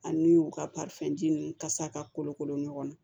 Ani u ka ninnu kasa ka kolokolo ɲɔgɔn na